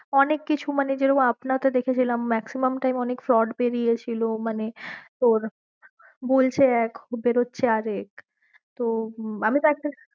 অনেক কিছু মানে যেরকম আপনা তে দেখেছিলাম maximum time অনেক fraud বেরীয়েছিল মানে তোর বলছে এক বেরোচ্ছে আর এক তো